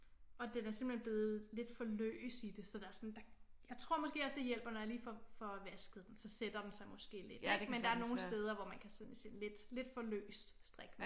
Og den er simpelthen blevet lidt for løs i det så der er sådan jeg tror måske også det hjælper når jeg lige får vasket den så sætter den sig måske lidt ik men der er nogle steder hvor man kan se lidt for løst strik